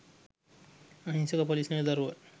අහිංසක පොලිස් නිලදරුවන්